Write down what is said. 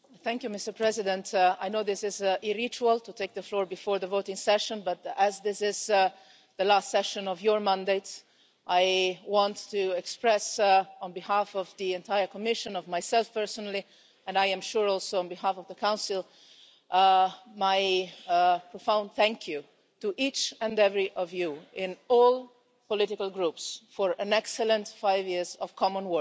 Mr President, I know this is a ritual to take the floor before the voting session, but as this is the last session of your mandate, I want to express on behalf of the entire Commission, of myself personally, and I am sure also on behalf of the Council, my profound thank you to each and every one of you, in all political groups, for an excellent five years of common work.